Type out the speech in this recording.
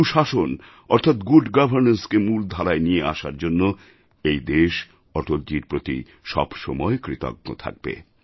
সুশাসন অর্থাৎ গুড Governanceকে মূল ধারায় নিয়ে আসার জন্য এই দেশ অটলজীর প্রতি সবসময় কৃতজ্ঞ থাকবে